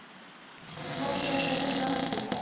Hvort þau ættu að reyna aftur.